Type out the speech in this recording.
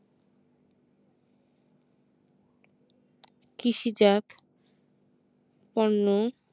কৃষি জাত পণ্য